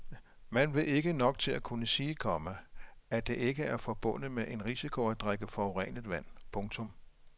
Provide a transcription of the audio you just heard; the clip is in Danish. Man ved ikke nok til at kunne sige, komma at det ikke er forbundet med en risiko at drikke forurenet vand. punktum